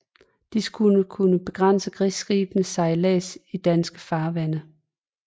De skulle kunne begrænse krigsskibes sejlads i danske farvande